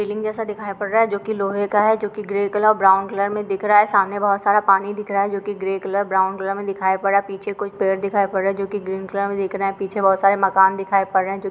Railing जैसे दिखाई पढ़ रहा है जो की लोहे का है जो की ग्रे कलर और ब्राउन कलर मे दिख रहा है सामने बहुत सारा पानी दिख रहा है जो की ग्रे कलर ब्राउन कलर मे दिखाई पढ़ रहा है पीछे कुछ पेड़ दिखाई पड़ रहे जो की ग्रीन कलर में दिख रहा है पीछे बहुत सारे मकान दिखाई पढ़ रहे है।